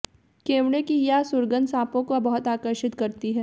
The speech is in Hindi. केवड़े की यह सुगंध साँपों को बहुत आकर्षित करती है